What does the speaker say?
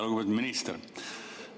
Lugupeetud minister!